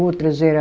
Outras era